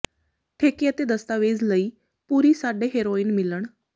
ਠੇਕੇ ਅਤੇ ਦਸਤਾਵੇਜ਼ ਦੇ ਲਈ ਪੂਰੀ ਸਾਡੇ ਹੈਰੋਇਨ ਮਿਲਣ